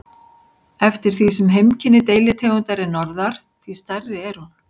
Eftir því sem heimkynni deilitegundar er norðar, því stærri er hún.